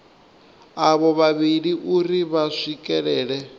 avho vhavhili uri vha swikelele